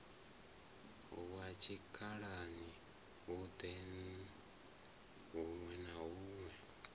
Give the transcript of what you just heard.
wa tshikhalani huṋwe na huṋwe